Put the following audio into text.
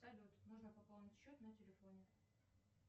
салют нужно пополнить счет на телефоне